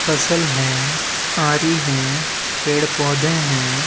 फसल है आरी है पेड-़ पौधे हैं।